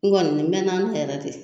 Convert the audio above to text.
N kɔni n mɛna nin yɛrɛ de